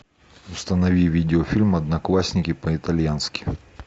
установи видеофильм одноклассники по итальянски